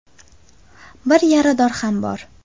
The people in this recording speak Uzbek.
Bir yarador ham bor.